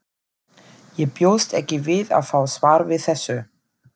Ég bjóst ekki við að fá svar við þessu.